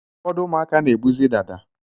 Ụfọdụ ụmụaka na-ebuzi dada